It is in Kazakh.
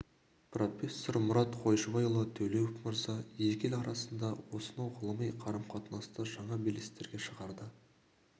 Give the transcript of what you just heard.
профессор мұрат қойшыбайұлы төлеуов мырза екі ел арасындағы осынау ғылыми қарым-қатынасты жаңа белестерге шығарды